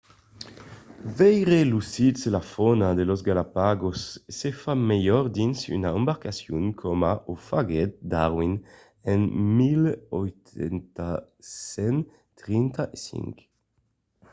veire los sits e la fauna de las galápagos se fa melhor dins una embarcacion coma o faguèt darwin en 1835